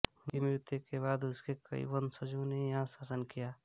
उनकी मृत्यु के बाद उसके कई वंशजों ने यहाँ शासन किया